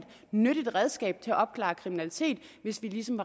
nyttigt redskab til at opklare kriminalitet hvis vi ligesom